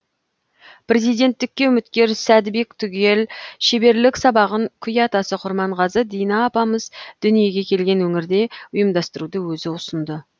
президенттікке үміткер сәдібек түгел шеберлік сабағын күй атасы құрманғазы дина апамыз дүниеге келген өңірде ұйымдастыруды өзі ұсынды